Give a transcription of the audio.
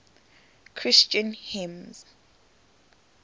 christian hymns